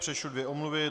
Přečtu dvě omluvy.